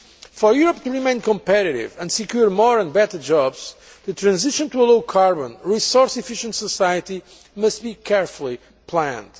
For Europe to remain competitive and secure more and better jobs, the transition to a low carbon, resource efficient society must be carefully planned.